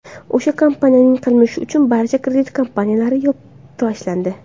O‘sha kompaniyaning qilmishi uchun barcha kredit kompaniyalari yopib tashlandi.